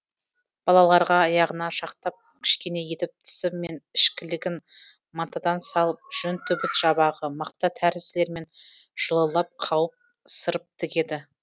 балаларға аяғына шақтап кішкене етіп тысы мен ішкілігін матадан салып жүн түбіт жабағы мақта тәрізділермен жылылап қауып сырып тігеді